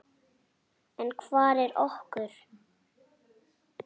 En hvað er okur?